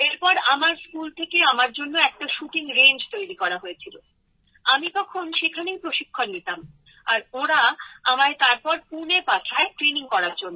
তারপর আমার স্কুল থেকে আমার জন্য একটা শুটিং রেঞ্জ তৈরি করা হয়েছিল আমি তখন সেখানেই প্রশিক্ষণ নিতাম আর ওঁরা আমায় তারপর পুণে পাঠায় ট্রেনিং করার জন্য